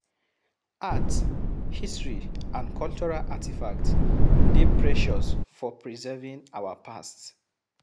Art, history and cultural artifacts dey precious for preserving our past